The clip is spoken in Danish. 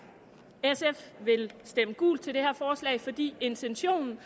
sf vil stemme gult til det her forslag fordi intentionen